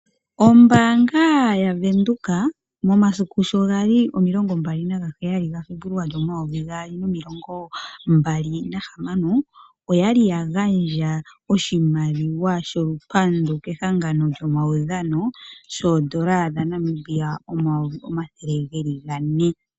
Ombaanga yavenduka, momasiku sho gali omilongo mbali nagaheyali gaFebuluali, omayovi gaali nomilongo mbali nahamano, oyali ya gandja oshimaliwa sholupandu kehangano lyomaudhano, shoondola omayovi omathele geli gane.